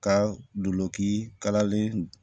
Ka dulonki kalalen